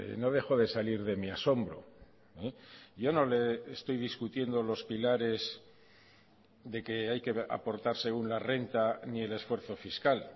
no dejo de salir de mi asombro yo no le estoy discutiendo los pilares de que hay que aportarse una renta ni el esfuerzo fiscal